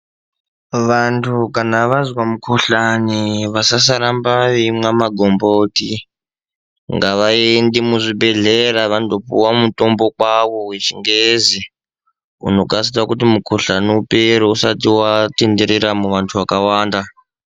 Vantu kana vazwa mukhuhlani ,vasasaramba veimwa magomboti. Ngavaende muzvibhedhlera vandopuwa mutombo kwawo wechingezi, unokasira kuti mukhuhlani upere usati watenderera muvantu vakawanda.